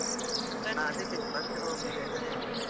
ಹಾ ಅದಕ್ಕೆ ಬಂದು ಹೋಗಿ ಅಂತ ಹೇಳಿದ್ದು .